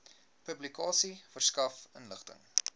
publikasie verskaf inligting